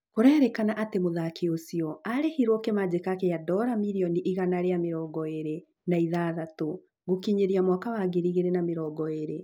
Kũrerĩkana atĩ mũthaki ũcio arĩhirwo kĩmanjĩka gĩa dora mĩrioni igana rĩa mĩrongo ĩĩrĩ na ithathatũ gũkinyĩria mwaka wa ngiri igĩrĩ na mĩrongo ĩĩrĩ